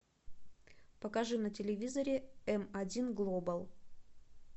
покажи на телевизоре м один глобал